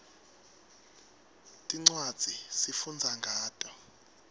tincwadzi sifundza ngato